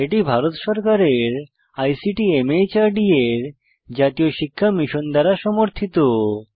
এটি ভারত সরকারের আইসিটি মাহর্দ এর জাতীয় শিক্ষা মিশন দ্বারা সমর্থিত